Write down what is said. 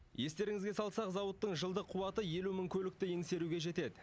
естеріңізге салсақ зауыттың жылдық қуаты елу мың көлікті еңсеруге жетед